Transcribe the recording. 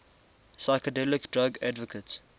psychedelic drug advocates